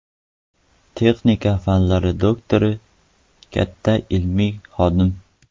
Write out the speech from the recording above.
Texnika fanlari doktori, katta ilmiy xodim.